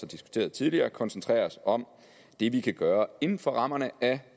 diskuteret tidligere koncentrere os om det vi kan gøre inden for rammerne af